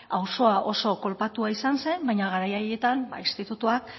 auzoa oso kolpatua izan zen baina garai haietan institutuak